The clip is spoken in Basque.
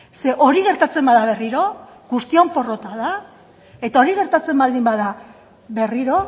ze hori gertatzen bada berriro guztion porrota da eta hori gertatzen baldin bada berriro